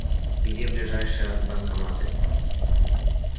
где ближайшие банкоматы